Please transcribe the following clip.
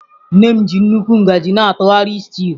Nne m ji nnukwu ngaji na-atụgharị stew.